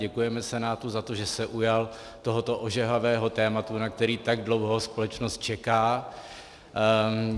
Děkujeme Senátu za to, že se ujal tohoto ožehavého tématu, na které tak dlouho společnost čeká.